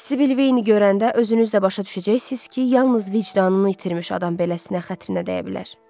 Sibil Veyni görəndə özünüz də başa düşəcəksiniz ki, yalnız vicdanını itirmiş adam beləsinə xətrinə dəyə bilər.